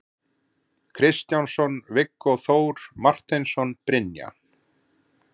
Kristjánsson, Viggó Þór Marteinsson, Brynja